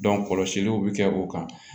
kɔlɔsiliw bi kɛ o kan